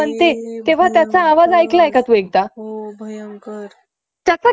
असे उद्योग सार्वजनिक क्षेत्रांत सुरु केले जातात. सार्वजनिक क्षेत्रांची महत्वपूर्ण भूमिका